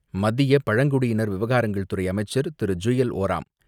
மத்திய பழங்குடியினர் விவகாரங்கள் துறை அமைச்சர் திரு. ஜுவல் ஓரம்